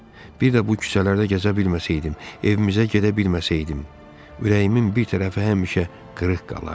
Bir də bu küçələrdə gəzə bilməsəydim, evimizə gedə bilməsəydim, ürəyimin bir tərəfi həmişə qırıq qalardı.